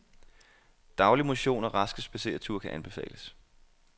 Daglig motion og raske spadsereture kan anbefales.